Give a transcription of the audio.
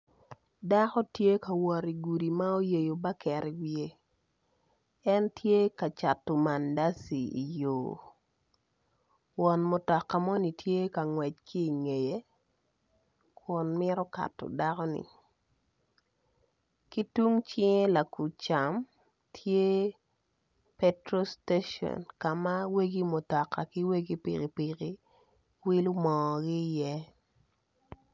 Dako tye ka wot igudi ma oyeyo baket iwiye en tye ka cato mandaci i yo won mutoka moni tye ka ngwec ki ingeye kun mito kato dakoni ki tung cinge lacam petrol station ka ma egi mutoka ki wegi pikipiki wilo mogi iye,